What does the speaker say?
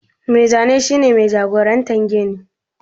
Mai Zane shi ne jagoran gini